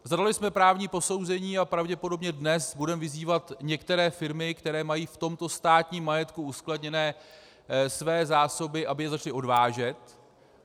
Zadali jsme právní posouzení a pravděpodobně dnes budeme vyzývat některé firmy, které mají v tomto státním majetku uskladněné své zásoby, aby je začaly odvážet.